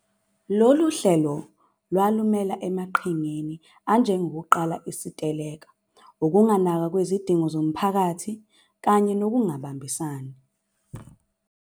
Lolu hlelo lwalumela emaqhingeni anjengokuqala iziteleka, ukunganakwa kwezidingo zomphakathi kanye nokungabambisani.